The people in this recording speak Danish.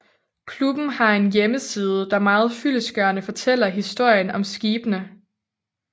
Klubben har en hjemmeside der meget fyldestgørende fortæller historien om skibene